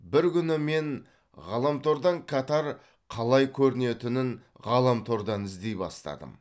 бір күні мен ғаламтордан катар қалай көрінетінін ғаламтордан іздей бастадым